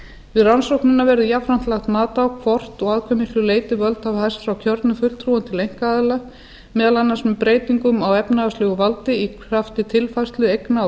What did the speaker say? við rannsóknina verði jafnframt lagt mat á hvort og að hve miklu leyti völd hafa færst frá kjörnum fulltrúar til einkaaðila meðal annars með breytingum á efnahagslegu valdi í krafti tilfærslu eigna og